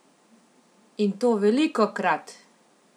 In to velikokrat!